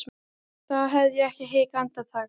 þá hefði ég ekki hikað andartak.